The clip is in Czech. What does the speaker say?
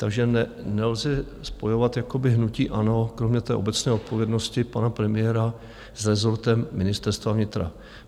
Takže nelze spojovat jakoby hnutí ANO kromě té obecné odpovědnosti pana premiéra s rezortem Ministerstva vnitra.